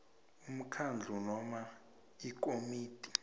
umkhandlu noma ikomiti